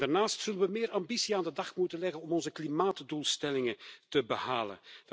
Daarnaast zullen we meer ambitie aan de dag moeten leggen om onze klimaatdoelstellingen te behalen.